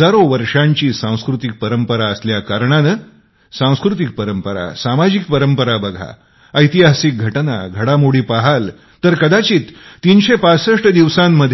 हजारो वर्षांची सांस्कृतिक परंपरा असल्या कारणांने सांस्कृतिक परंपरा सामाजिक परंपरा बघा ऐतिहासिक घटना घडामोडी पहाल तर कदाचित ३६५ दिवसात